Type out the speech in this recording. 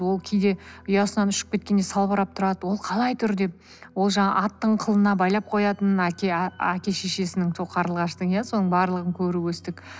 ол кейде ұясынан ұшып кеткенде салбырап тұрады ол қалай тұр деп ол жаңағы аттың қылына байлап қоятынына әке шешесінің сол қарлығаштың иә соның барлығын көріп өстік